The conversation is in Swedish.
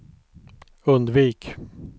undvik